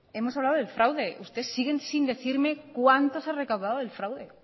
hemos hablado del fraude usted sigue sin decirme cuánto se ha recaudado del fraude